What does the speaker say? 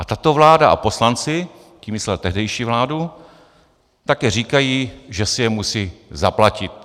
A tato vláda a poslanci" - tím myslel tehdejší vládu - "také říkají, že si je musí zaplatit.